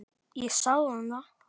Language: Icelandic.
Ég sagði honum það.